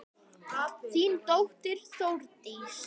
Þín dóttir Þórdís.